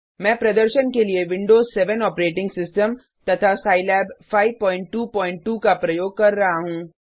मैं प्रदर्शन के लिए विंडोज 7 ऑपरेटिंग सिस्टम तथा सिलाब 522 का प्रयोग कर रहा हूँ